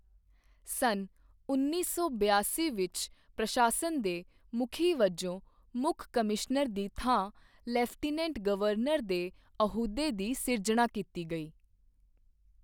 ਸੰਨ ਉੱਨੀ ਸੌ ਬਿਆਸੀ ਵਿੱਚ ਪ੍ਰਸ਼ਾਸਨ ਦੇ ਮੁਖੀ ਵਜੋਂ ਮੁੱਖ ਕਮਿਸ਼ਨਰ ਦੀ ਥਾਂ ਲੈਫਟੀਨੈਂਟ ਗਵਰਨਰ ਦੇ ਅਹੁਦੇ ਦੀ ਸਿਰਜਣਾ ਕੀਤੀ ਗਈ।